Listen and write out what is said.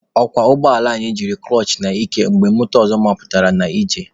Ọkwọ ụgbọala anyị jiri kụlọchị n'ike mgbe moto ọzọ mapụtara n'ije.